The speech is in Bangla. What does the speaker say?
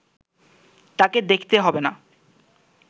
তাকে দেখতে হবে না